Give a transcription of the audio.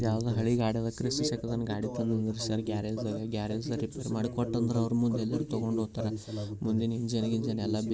ಯಾವುದು ಹಳೆ ಗಾಡಿ ತಗೊಂಡ್ ಬಂದಿಲ್ಲ ಗ್ಯಾರೇಜ್ ಒಳಗೇ ಮುಂದಿನ್ ಇಂಜಿನ್ ಎಲ್ಲಾ ಬಿಚ್ಚವ್ರೇ.